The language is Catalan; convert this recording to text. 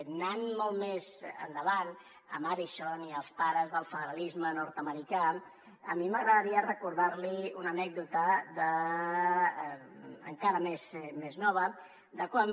anant molt més endavant a madison i als pares del federalisme nord americà a mi m’agradaria recordar li una anècdota encara més nova de quan